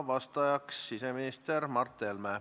Vastaja on siseminister Mart Helme.